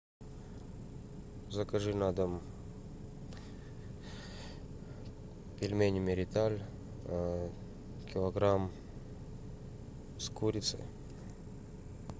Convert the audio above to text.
закажи на дом пельмени мириталь килограмм с курицей